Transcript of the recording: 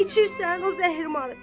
İçirsən o zəhrimarı.